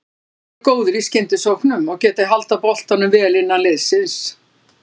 Þeir eru góðir í skyndisóknum og getað haldið boltanum vel innan liðsins.